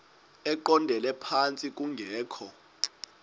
eqondele phantsi kungekho